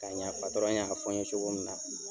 Ka ɲa y'a fɔ n ye cogo min na.